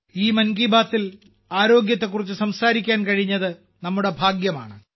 ഈ മൻ കി ബാത്തിൽ മാനസികാരോഗ്യത്തെക്കുറിച്ച് സംസാരിക്കാൻ കഴിഞ്ഞത് നമ്മുടെ ഭാഗ്യമാണ്